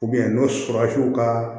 n'o sɔrɔ a y'u ka